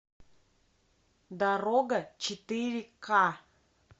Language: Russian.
дорога четыре ка